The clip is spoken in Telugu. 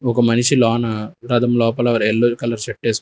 ఒక మనిషి లోన రథం లోపల ఆర్ ఎల్లో కలర్ షర్ట్ ఎస్ --